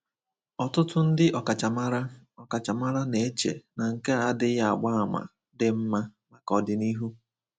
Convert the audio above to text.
Ọtụtụ ndị ọkachamara ọkachamara na-eche na nke a adịghị agba àmà dị mma maka ọdịnihu.